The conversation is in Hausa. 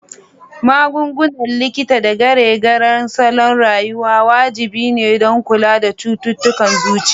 Magungunan likita da gyare-gyaren salon rayuwa wajibi ne don kula da cututtukan zuciya.